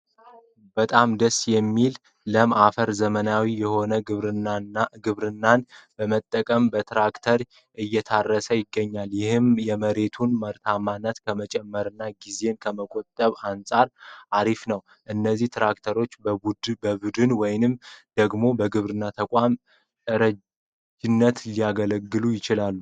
በጣም ደስ የሚል ለም አፈር ዘመናዊ የሆነ ግብርናን በመጠቀም በትራክተር እየታረሰ ይገኛል ይህም የመሬቱን ምርታማነት ከመጨመርና ጊዜን ከመቆጠብ አንጻር አሪፍ ነው። እነዚህ ትራክተሮችን በብድር ወይም ደግሞ በግብርና ተቋማት እረጅነት ሊገኙ ይችላሉ ።